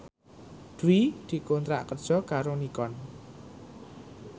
Dwi dikontrak kerja karo Nikon